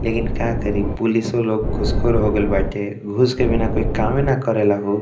लेकिन का करी पुलिसो लोग घूसखोर हो गोइल बाटे घूस के बिना कोई कामे ना करेला हो।